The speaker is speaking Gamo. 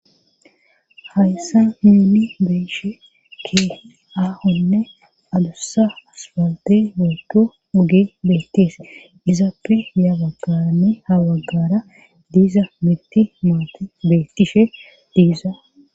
hayssa mini beishe ke aahonne adussa asfaltey wooko ugi beetes izaappe ya baggarane habaggara diza miti maate betishe diiza